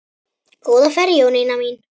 Góða ferð Jónína mín.